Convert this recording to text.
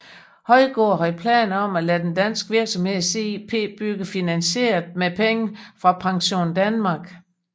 Højgaard havde planer om at lade den danske virksomhed CIP bygge finansieret med penge fra PensionDanmark